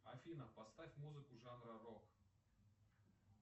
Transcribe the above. афина поставь музыку жанра рок